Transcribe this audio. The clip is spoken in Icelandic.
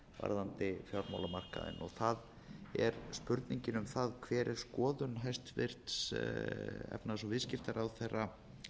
varðandi fjármálamarkaðinn það er spurningin um hver er skoðun hæstvirtur efnahags og viðskiptaráðherra